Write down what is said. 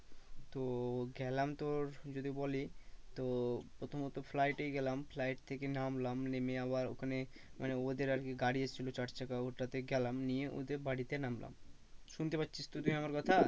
তো গেলাম তোর যদি বলি তো প্রথমত flight এই গেলাম flight থেকে নামলাম নেমে আবার ওখানে মানে ওদের আর কি গাড়ি এসছিল চার চাকা ওটাতে গেলাম নিয়ে ওদের বাড়িতে নামলাম শুনতে পাচ্ছিস তো তুই আমার কথা?